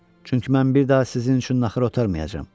çünki mən bir daha sizin üçün naxır otarmayacam.